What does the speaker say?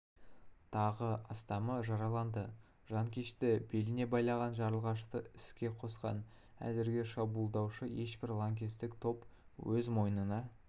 тағы астамы жараланды жанкешті беліне байланған жарылғышты іске қосқан әзірге шабуылды ешбір лаңкестік топ өз мойнына